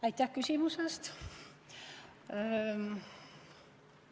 Aitäh küsimuse eest!